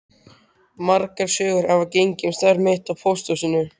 Margar sögur hafa gengið um starf mitt á pósthúsinu.